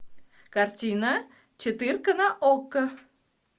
картина четырка на окко